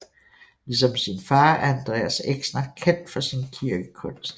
Ligesom sin far er Andreas Exner kendt for sin kirkekunst